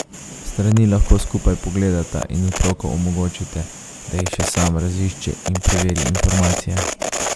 Strani lahko skupaj pogledata in otroku omogočite, da jih še sam razišče in preveri informacije.